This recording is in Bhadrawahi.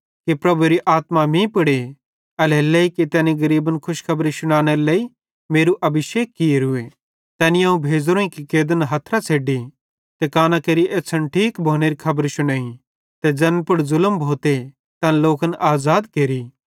प्रभुएरी आत्मा मीं पुड़े एल्हेरेलेइ कि तैनी गरीबन खुशखबरी शुनानेरे लेइ मेरू अभिषेक कियोरूए तैनी अवं भेज़ोरोईं कि कैदन हथरां छ़ेड्डी ज़ैना शैताने कब्ज़े मां आन ते कांना केरि एछ़्छ़न ठीक भोनेरी खबर शुनेइ ते ज़ैन पुड़ ज़ुलम भोते तैन लोकन आज़ाद केरि